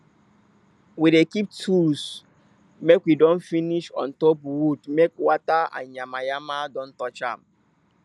we dey keep tools make we don finish on top wood make water and yama yama don touch am